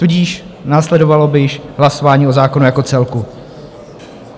Tudíž následovalo by již hlasování o zákonu jako celku.